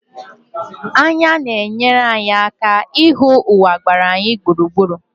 Anya na-enyere anyị aka ịhụ ụwa gbara anyị gburugburu.